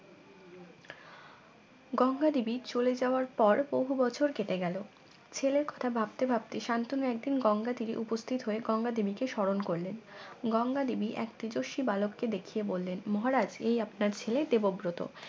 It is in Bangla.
গঙ্গা দেবী চলে যাওয়ার পর বহু বছর কেটে গেল ছেলের কথা ভাবতে ভাবতে শান্তনু একদিন গঙ্গা তীরে উপস্থিত হয়ে গঙ্গা দেবীকে স্মরণ করলেন গঙ্গা দেবী এক তেজস্বী বালক কে দেখিয়ে বললেন মহারাজ এই আপনার ছেলে দেবব্রত।